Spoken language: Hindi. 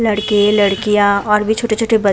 लड़के - लड़कियाँ और भी छोटे - छोटे बच् --